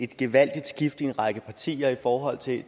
gevaldigt skift i en række partier i forhold til